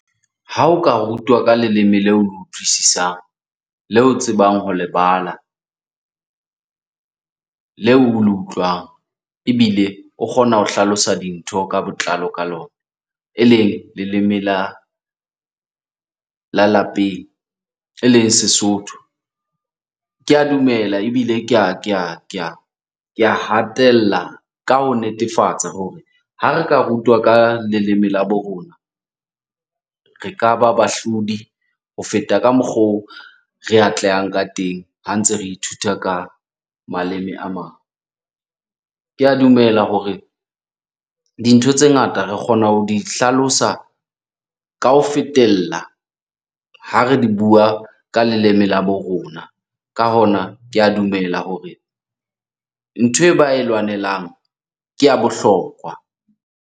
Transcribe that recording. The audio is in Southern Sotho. Ha o ka rutwa ka leleme leo utlwisisang, leo o tsebang ho le bala, leo o le utlwang, ebile o kgona ho hlalosa dintho ka botlalo ka lona. Eleng leleme la lapeng eleng Sesotho, ke a dumela ebile ke a hatella ka ho netefatsa hore ha re ka rutwa ka leleme la bo rona, re ka ba bahlodi ho feta ka mokgo re atlehang ka teng ha ntse re ithuta ka maleme a mang. Ke a dumela hore dintho tse ngata re kgona ho di hlalosa ka ho fetella ha re di bua ka leleme la bo rona. Ka hona, ke a dumela hore nthwe ba e lwanelang ke ya bohlokwa.